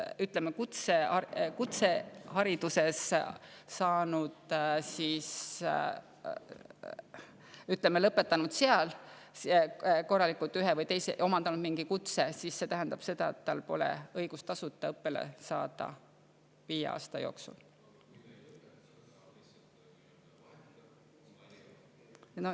Ja kui ta on kutse omandanud mingi kutse, siis see tähendab seda, et tal pole õigust tasuta õppele saada viie aasta jooksul.